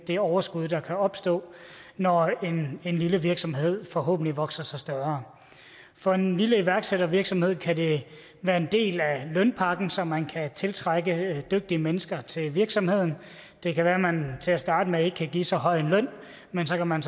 det overskud der kan opstå når en lille virksomhed forhåbentlig vokser sig større for en lille iværksættervirksomhed kan det være en del af lønpakken så man kan tiltrække dygtige mennesker til virksomheden det kan være at man til at starte med ikke kan give så høj en løn men så kan man